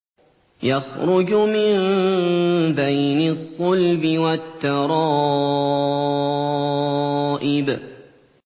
يَخْرُجُ مِن بَيْنِ الصُّلْبِ وَالتَّرَائِبِ